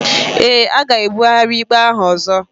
Eé, a ga-ebugharị ikpe ahụ ọzọ.